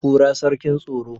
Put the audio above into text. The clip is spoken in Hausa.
kura sarkin tsaro